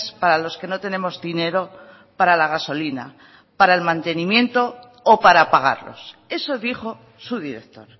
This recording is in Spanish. para los que no tenemos dinero para la gasolina para el mantenimiento o para pagarlos eso dijo su director